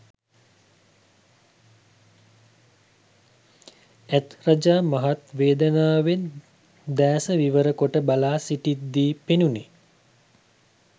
ඇත් රජා මහත් වේදනාවෙන් දෑස විවර කොට බලා සිිටිද්දී පෙනුණේ